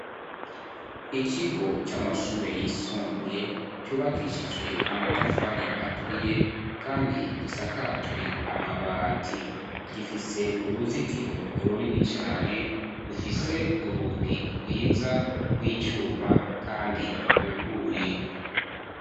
Ikigo c'amashure yisumbuye cubakishijwe amatafari aturiye kandi gisakajwe amabati; gifise uruzitiro urunini cane. Rufise urugi rwiza rw'icuma kandi rwuguruye.